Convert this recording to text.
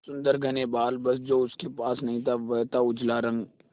सुंदर घने बाल बस जो उसके पास नहीं था वह था उजला रंग